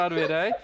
Təkrar verək.